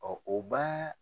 o b'a